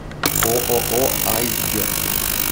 ооо айсберг